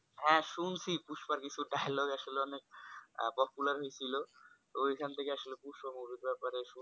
হ্যা শুনছি পুষ্পার কিছুটা dialogue আসলে অনেক popular হয়েছিল ওইখান থেকে আসলে পুষ্পা movie র ব্যাপারে শুন